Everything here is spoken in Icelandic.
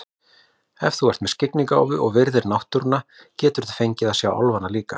Ef þú ert með skyggnigáfu og virðir náttúruna geturðu fengið að sjá álfana líka.